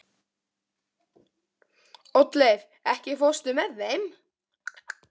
Oddleif, ekki fórstu með þeim?